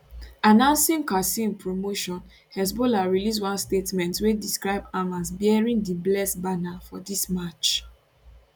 announcing qassem promotion hezbollah release one statement wey describe am as bearing di blessed banner for dis march